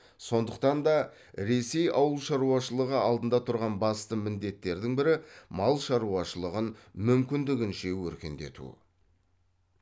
сондықтан да ресей ауыл шаруашылығы алдында тұрған басты міндеттердің бірі мал шаруашылығын мүмкіндігінше өркендету